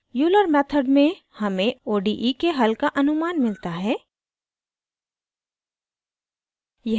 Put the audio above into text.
euler method में हमें ode के हल का अनुमान मिलता है